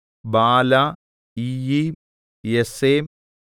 ബാല ഇയ്യീം ഏസെം